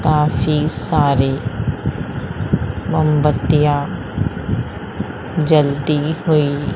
काफी सारी मोमबत्तियां जलती हुई--